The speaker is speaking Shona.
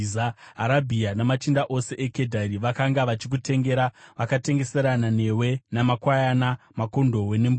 “ ‘Arabhia namachinda ose eKedhari vakanga vachikutengera; vakatengeserana newe namakwayana, makondobwe nembudzi.